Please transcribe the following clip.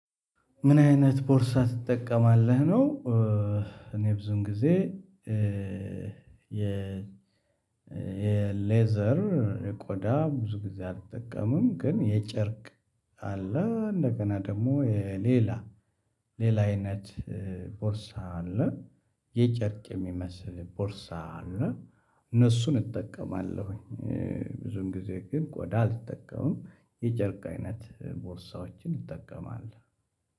ምን አይነት ቦርሳ ትጠቀማለህ ነው? እኔ ብዙን ጊዜ የ የሌዘር ቆዳ ብዙ ጊዜ አልጠቀምም። ግን የጨርቅ አለ እንደገና ደግሞ ሌላ ሌላ አይነት ቦርሳ አለ የጨርቅ የሚመስል ቦርሳ አለ እነሱን እጠቀማለሁኝ። ብዙም ጊዜ ግን ቆዳ አልጠቀምም የጨርቅ አይነት ቦርሳዎችን እጠቀማለሁ።